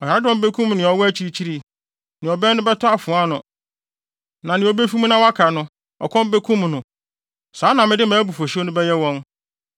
Ɔyaredɔm bekum nea ɔwɔ akyirikyiri. Nea ɔbɛn no bɛtɔ afoa ano na nea obefi mu na waka no, ɔkɔm bekum no. Saa na mede mʼabufuwhyew no bɛyɛ wɔn.